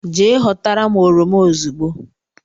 Je họtara m oroma ozugbo